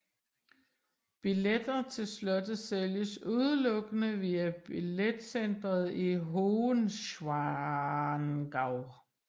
Billetter til slottet sælges udelukkende via billetcenteret i Hohenschwangau